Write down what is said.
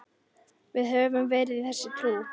Við höfum verið þessu trú.